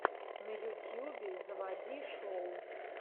на ютьюбе заводи шоу